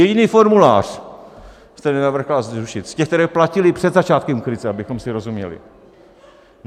Jediný formulář jste nenavrhla zrušit z těch, které platily před začátkem krize, abychom si rozuměli.